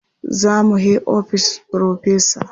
Za mu he ofishin Firofesa.